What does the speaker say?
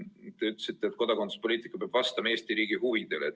Te ütlesite, et kodakondsuspoliitika peab vastama Eesti riigi huvidele.